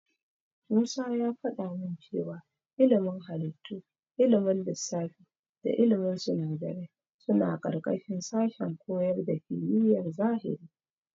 Musa ya faɗa min cewa ilimin halittu, ilimin lissafi da ilimin sinadarai suna ƙarƙashin sashen koyar da kimiyar zahiri.